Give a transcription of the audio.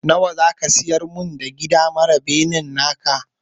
Nawa ne za ka siyar min da gida mara benen naka?